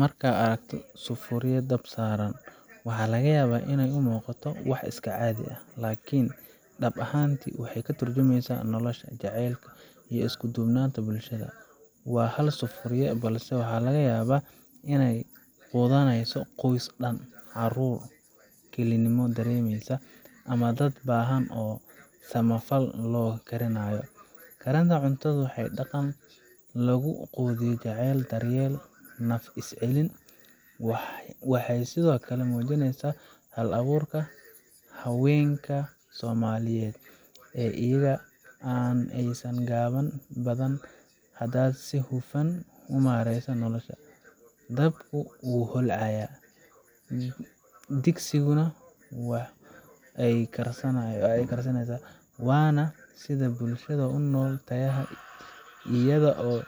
Marka aad aragto sufuria dab saaran, waxa laga yaabaa in ay u muuqato wax iska caadi ah, laakiin dhab ahaantii waxay ka turjumaysaa nolosha, jacaylka, iyo isku duubnida bulshada. Waa hal sufuria, balse waxaa laga yaabaa inay quudinayso qoys dhan, caruur kelinimo dareemaysa, ama dad baahan oo samafal loo karinayo. Karinta cuntadu waa dhaqan lagu gudbiyo jacayl, daryeel, iyo naf is celin. Waxay sidoo kale muujinaysaa hal abuurka haweenka Soomaaliyeed ee iyaga oo aan haysan agab badan haddana si hufan u maaraynaya nolosha. Dabku wuu holcayaa, sufuriyada waa ay karkaraysaa, waana sida ay bulshada u nool tahay iyada oo